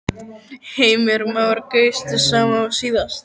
Heimir Már: Kaustu sama og síðast?